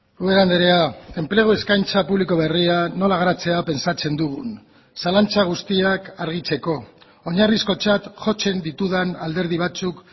ubera andrea enplegu eskaintza publiko berria nola garatzea pentsatzen dugun zalantza guztiak argitzeko oinarrizkotzat jotzen ditudan alderdi batzuk